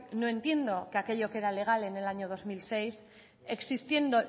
no entiendo que aquello que era legal en el año dos mil seis existiendo